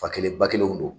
Fa kelen ba kelenw don